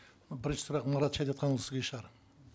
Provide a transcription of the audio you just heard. бірінші сұрақ марат шәдетханұлы сізге шығар